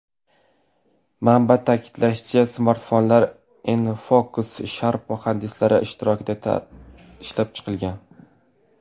Manba ta’kidlashicha, smartfonlar InFocus/Sharp muhandislari ishtirokida ishlab chiqilgan.